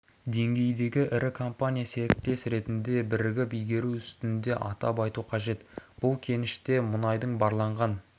деңгейдегі ірі компания серіктес ретінде бірігіп игеру үстінде атап айту қажет бұл кеніште мұнайдың барланған